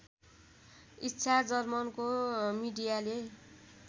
इच्छा जर्मनको मिडियाले